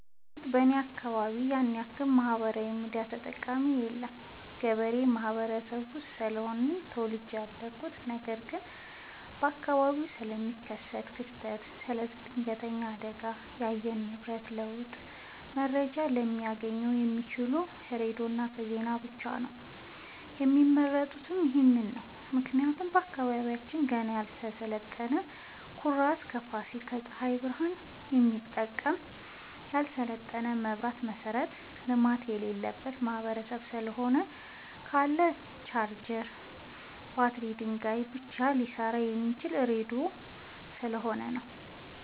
በርግጥ እኔ አካባቢ ያንያክል ማህበራዊ ሚዲያ ተጠቀሚ የለም ገበሬ ማህበረሰብ ውስጥ ስለሆነ ተወልጄ ያደኩት ነገር ግን በአካባቢው ስለሚከሰት ክስተት ስለ ድነገተኛ አደጋዎች የአየር ንብረት ለውጥ መረጃ ሊያገኙ የሚችሉት ከሬዲዮ ዜና ብቻ ነው የሚመርጡትም ይህንኑ ነው ምክንያቱም አካባቢያችን ገና ያልሰለጠነ በኩራዝ ከፋሲል በፀሀይ ብረሃን የሚጠቀም ያልሰለጠነ የመብራት መሠረተ ልማት የሌለበት ማህበረሰብ ስለሆነ ካለ ቻርጀር በባትሪ ድንጋይ ብቻ ሊሰራ የሚችለው ራዲዮ ስለሆነ ነው።